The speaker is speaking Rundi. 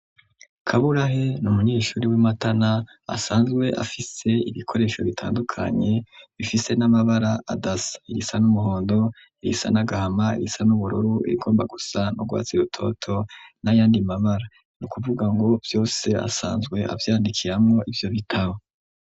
kaburahe ni umunyeshuri w'I Matana asanzwe afise ibikoresho bitandukanye bifise n'amabara adasa, irisa n'umuhondo, irisa n'agahama ,irisa n'ubururu rigomba gusa n'urwatsi rutoto n'ayandi mabara ni ukuvuga ngo vyose asanzwe avyandikiramwo ivyo bitaho.